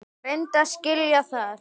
Reyndu að skilja það.